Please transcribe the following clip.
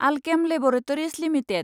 Alkem laboratories limited